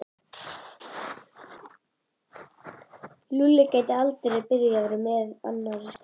Lúlli gæti aldrei byrjað að vera með annarri stelpu.